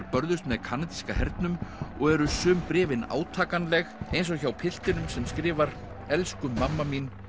börðust með kanadíska hernum og eru sum bréfin átakanleg eins og hjá piltinum sem skrifar elsku mamma mín